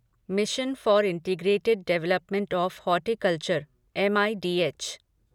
mission for integrated development of horticulture MIDH